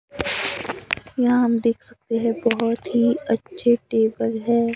यहां हम देख सकते हैं बहोत ही अच्छे टेबल है।